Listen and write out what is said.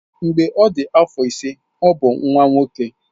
Mgbe ọ dị afọ ise ọ bụ nwa nwoke.